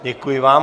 Děkuji vám.